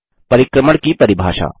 परिक्रमण की परिभाषा